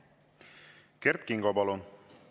Kert Kingo, palun!